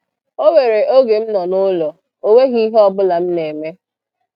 O nwere oge m nọ n'ụlọ, o nweghị ihe ọbụla m na-eme